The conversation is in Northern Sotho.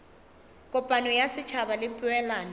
kopano ya setšhaba le poelano